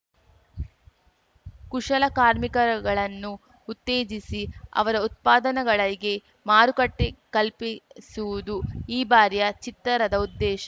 ಕುಶಲಕಾರ್ಮಿಕಗಳನ್ನು ಉತ್ತೇಜಿಸಿ ಅವರ ಉತ್ಪಾದನಗಳಿಗೆ ಮಾರುಕಟ್ಟೆಕಲ್ಪಿಸುವುದು ಈ ಬಾರಿಯ ಚಿತ್ತರದ ಉದ್ದೇಶ